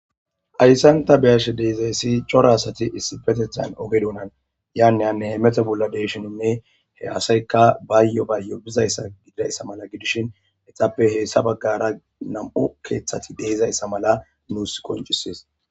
Hayssanta biyash deezayssi cora asati issi petethan oge dunan yaaneyanne meta bolla deshininne he asaykka baayyo baayyo bizayssa gididayssa mala gidishin etappe heessa baggara nam'u keeththati deezayssa mala nuus koncisies.